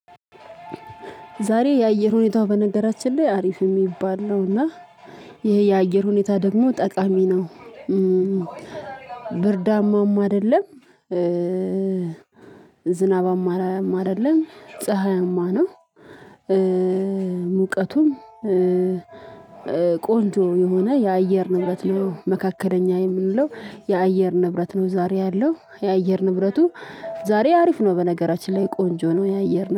ዛሬ የአየር ሁኔታው በነገራችን ላይ አሪፍ የሚባል ነውና ይሄ የአየር ሁኔታ ደግሞ ጠቃሚ ነው። ብርዳማም አይደለም። ዝናባማም አደለም አይደለም ፀሀይአማ ነው። ሙቀቱም ቆንጆ የሆነ የአየር ንብረት ነው። መካከለኛ የምንለው የአየር ንብረት ነው። ዛሬ ያለው የአየር ንብረቱ ዛሬ አሪፍ ነው። በነገራችን ላይ ቆንጆ ነው። የአየር